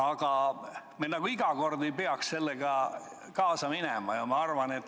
Aga me ei peaks sellega iga kord kaasa minema.